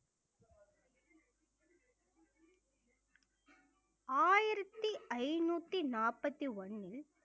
ஆயிரத்தி ஐந்நூத்தி நாற்பத்தி ஒண்ணில்